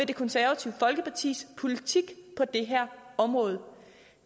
det konservative folkepartis politik på det her område